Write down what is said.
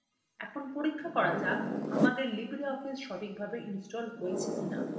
এখন পরীক্ষা করা যাক আমাদের libreoffice সঠিকভাবে ইনস্টল হয়েছে কিনা